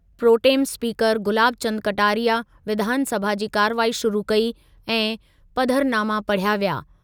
Pro tem speaker Gulab Chand Kataria विधानसभा जी कार्रवाई शुरू कई ऐं पधरनामा पढ़िया विया।